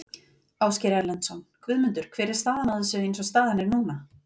Ásgeir Erlendsson: Guðmundur hver er staðan á þessu eins og staðan er núna?